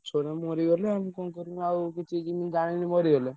ଗଛଗୁଡା ମରିଗଲେ। ଆମେ କଣ କରିବୁ ଆଉ କିଛି ଯେମିତି ଜାଣିନୁ ମରିଗଲେ।